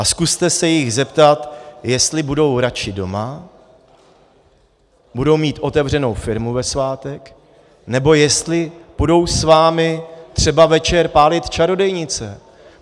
A zkuste se jich zeptat, jestli budou radši doma, budou mít otevřenou firmu ve svátek, nebo jestli půjdou s vámi třeba večer pálit čarodějnice.